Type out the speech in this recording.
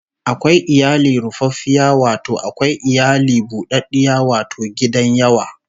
Akwai iyali rufaffiya wato akwai iyali bu ɗaɗɗiya wato gidan yawa